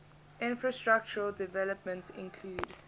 infrastructural developments include